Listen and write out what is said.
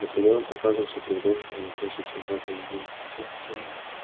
наполеон показывался перед обществом не чаще чем раз в две недели